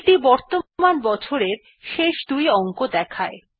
এইটি বর্তমান বছরের শেষ দুই অংক দেখায়